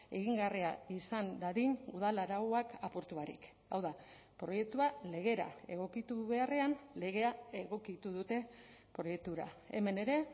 egingarria izan dadin udal arauak apurtu barik hau da proiektua legera egokitu beharrean legea egokitu dute proiektura hemen ere